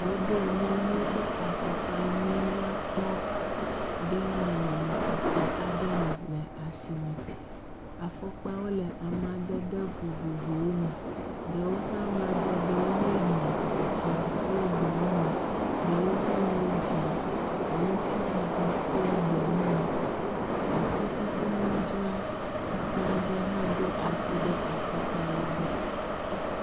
Woɖo nyɔnuwo ƒe afɔkpa nyui nyakpɔ ɖe nɔnɔme tɔxɛ aɖe me le asi me. Afɔkpawo le amadede vovovowo me, ɖewo ƒe amadedewo nye ʋie, dzɛ̃kple gbe mumu, ɖewo hã nye dzie kple gbemumu. Asitutunudzrala aɖe hã ɖo asi ɖe afɔkpawo gbɔ.